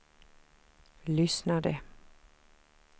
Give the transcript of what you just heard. lyssnade